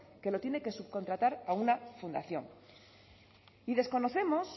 que lo tiene que subcontratar a una fundación y desconocemos